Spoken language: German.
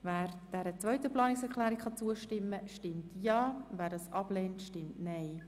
Wer dieser Planungserklärung zustimmt, stimmt Ja, wer diese ablehnt, stimmt Nein.